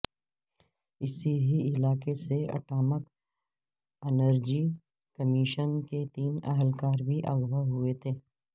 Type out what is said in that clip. اسی ہی علاقے سے اٹامک انرجی کمیشن کے تین اہلکار بھی اغواء ہوئے تھے